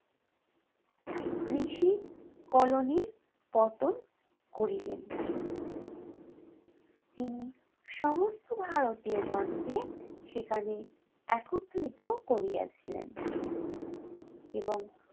কৃষি কলোনির পতন করিলেন। তিনি সমস্ত ভারতীয় গণকে সেখানে একত্রিত করিয়াছিলেন। এবং